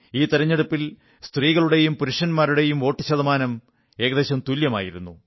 ഈ തിരഞ്ഞെടുപ്പിൽ സ്ത്രീകളുടെയും പുരുഷന്മാരുടെയും വോട്ടു ശതമാനം ഏകദേശം തുല്യമായിരുന്നു